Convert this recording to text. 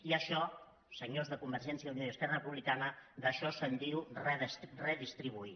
i això senyors de convergència i unió i esquerra republicana d’això se’n diu redistribuir